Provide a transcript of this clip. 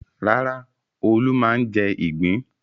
Rárá, Olú máa ń jẹ ìgbín.